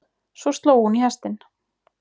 Svo sló hún í hestinn.